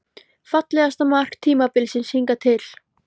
Fallegasta mark tímabilsins hingað til?